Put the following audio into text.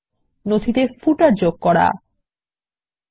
নথিতে কিভাবে পাদলেখ যোগ করা যায়